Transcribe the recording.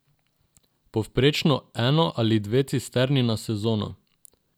Povprečno eno ali dve cisterni na sezono.